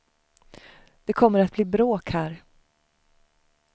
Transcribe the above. Det kommer att bli bråk här.